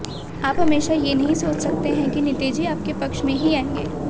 आप हमेशा ये नहीं सोच सकते हैं कि नतीजे आपके पक्ष में ही आएंगे